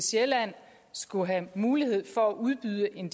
sjælland skulle have mulighed for at udbyde en